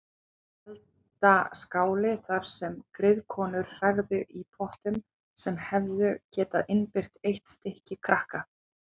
Og eldaskáli þar sem griðkonur hrærðu í pottum sem hefðu getað innbyrt eitt stykki krakka.